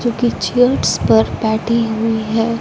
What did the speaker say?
जो कि चेयर्स पर बैठी हुई है।